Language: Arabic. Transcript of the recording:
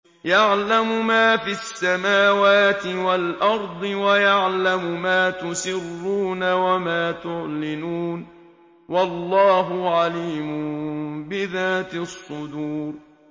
يَعْلَمُ مَا فِي السَّمَاوَاتِ وَالْأَرْضِ وَيَعْلَمُ مَا تُسِرُّونَ وَمَا تُعْلِنُونَ ۚ وَاللَّهُ عَلِيمٌ بِذَاتِ الصُّدُورِ